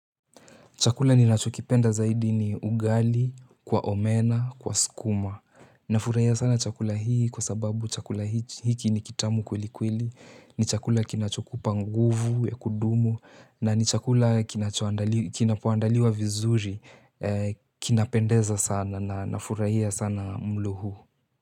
Chakula ni nachokipenda zaidi ni ugali, kwa omena, kwa sukuma. Nafurahia sana chakula hii kwa sababu chakula hiki ni kitamu kweli kweli. Ni chakula kinachokupa nguvu ya kudumu na ni chakula kinapo andaliwa vizuri. Kinapendeza sana na nafurahia sana mlo huu.